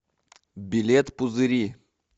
билет пузыри